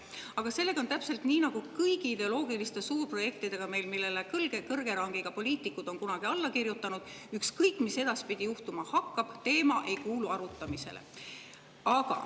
Aga sellega on täpselt nii nagu meil on kõigi ideoloogiliste suurprojektidega, millele kõrgema rangi poliitikud on kunagi alla kirjutanud: ükskõik mis edaspidi juhtuma hakkab, teema ei kuulu arutamisele.